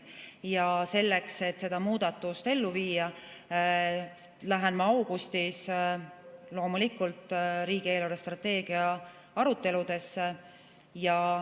Selle, et seda muudatust ellu viia, lähen ma augustis loomulikult riigi eelarvestrateegia aruteludele.